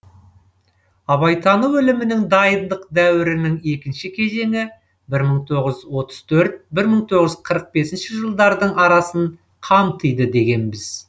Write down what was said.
абайтану ілімінің дайындық дәуірінің екінші кезеңі бір мың тоғыз жүз отыз төрт бір мың тоғыз жүз қырық бесінші жылдардың арасын қамтиды дегенбіз